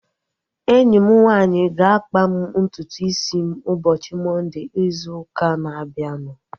Enyi m nwanyị ga-akpa m ntutu isi m ụbọchị Mọnde izu ụka na-abịanụ